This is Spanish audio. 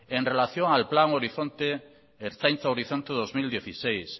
en relación al plan horizonte ertzaintza horizonte dos mil dieciséis